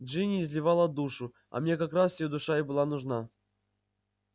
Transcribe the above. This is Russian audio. джинни изливала душу а мне как раз её душа и была нужна